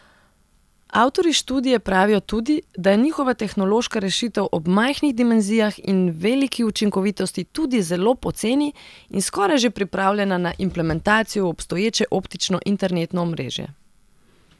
Avtorji študije pravijo tudi, da je njihova tehnološka rešitev ob majhnih dimenzijah in veliki učinkovitosti tudi zelo poceni in skoraj že pripravljena na implementacijo v obstoječe optično internetno omrežje.